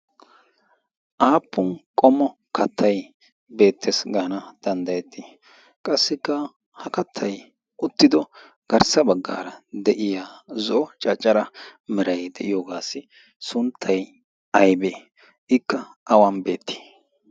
aappun qommo kattai beettees gaana danddayettii? qassikka ha kattai uttido garssa baggaara de7iya zo caccara mirai de7iyoogaassi sunttai aibee ikka awan beettii?